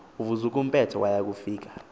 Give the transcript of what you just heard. uvukuzumbethe waya kufika